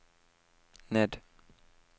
ned